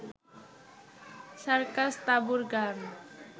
সার্কাস-তাঁবুর গান